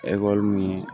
min